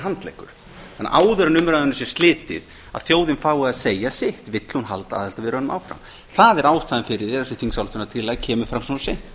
handleggur en áður en umræðunni sé slitið að þjóðin fái að segja sitt vill hún halda aðildarviðræðunum áfram það er ástæðan fyrir því að þessi þingsályktunartillaga kemur fram svona seint